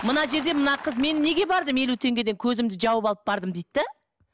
мына жерде мына қыз мен неге бардым елу теңгеден көзімді жауып алып бардым дейді де